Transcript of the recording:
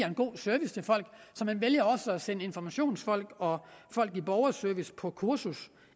en god service man vælger så at sende informationsfolk og folk i borgerservice på kursus